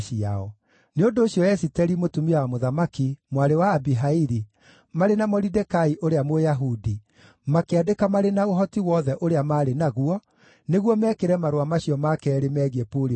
Nĩ ũndũ ũcio Esiteri, mũtumia wa mũthamaki, mwarĩ wa Abihaili, marĩ na Moridekai ũrĩa Mũyahudi, makĩandĩka marĩ na ũhoti wothe ũrĩa maarĩ naguo, nĩguo mekĩre marũa macio ma keerĩ meegiĩ Purimu hinya.